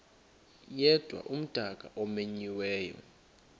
yedwa umdaka omenyiweyo